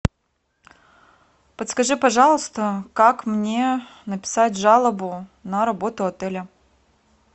подскажи пожалуйста как мне написать жалобу на работу отеля